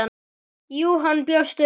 Jú, hann bjóst við því.